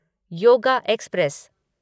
yoga express